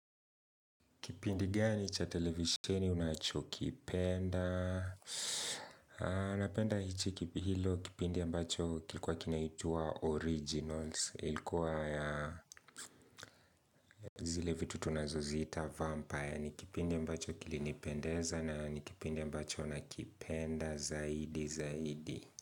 Kipindi gani cha televiseni unachokipenda anapenda hichi kipi hilo kipindi ambacho kilikuwa kinaitwa Originals ilikuwa ya zile vitu tunazo zita Vampire Nikipindi ambacho kilinipendeza na nikipindi ambacho nakipenda zaidi zaidi.